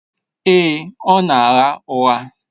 Èè, ọ na-agha ụgha.